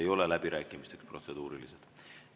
Protseduurilised ei ole läbirääkimisteks.